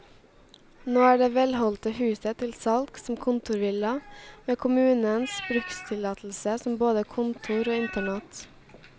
Nå er det velholdte huset til salgs som kontorvilla, med kommunens brukstillatelse som både kontor og internat.